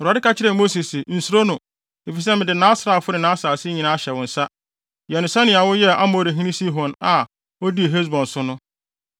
Awurade ka kyerɛɛ Mose se, “Nsuro no, efisɛ mede nʼasraafo ne nʼasase nyinaa ahyɛ wo nsa. Yɛ no sɛnea woyɛɛ Amorihene Sihon a odii Hesbon so no.”